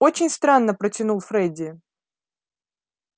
очень странно протянул фредди